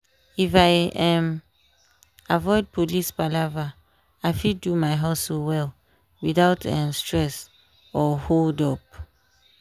if i um avoid police palava i fit do my hustle well without um stress or hold-up.